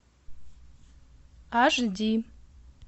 аш ди